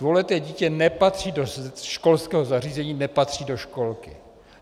Dvouleté dítě nepatří do školského zařízení, nepatří do školky.